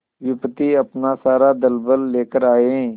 विपत्ति अपना सारा दलबल लेकर आए